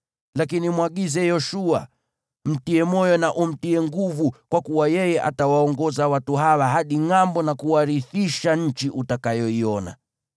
Lakini mwagize Yoshua, mtie moyo na umtie nguvu, kwa kuwa yeye atawaongoza watu hawa hadi ngʼambo na kuwarithisha nchi utakayoiona.”